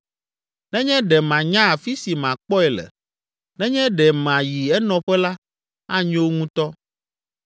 Nenye ɖe manya afi si makpɔe le, nenye ɖe mayi enɔƒe la, anyo ŋutɔ!